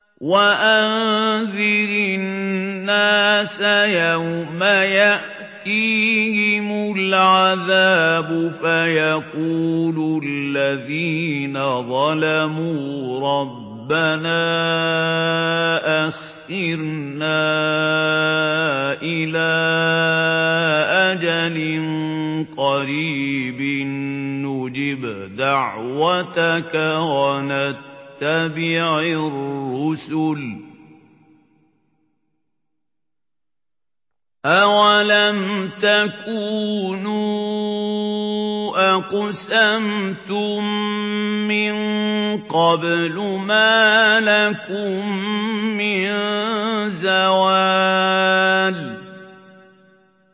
وَأَنذِرِ النَّاسَ يَوْمَ يَأْتِيهِمُ الْعَذَابُ فَيَقُولُ الَّذِينَ ظَلَمُوا رَبَّنَا أَخِّرْنَا إِلَىٰ أَجَلٍ قَرِيبٍ نُّجِبْ دَعْوَتَكَ وَنَتَّبِعِ الرُّسُلَ ۗ أَوَلَمْ تَكُونُوا أَقْسَمْتُم مِّن قَبْلُ مَا لَكُم مِّن زَوَالٍ